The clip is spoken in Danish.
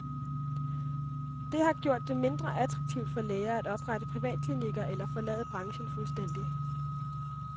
Det har gjort det mindre attraktivt for læger at oprette privatklinikker eller forlade branchen fuldstændig.